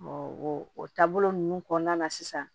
o taabolo ninnu kɔnɔna na sisan